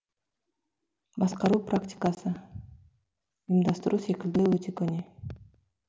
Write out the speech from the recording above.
басқару практиқасы ұйымдастыру секілді өте көне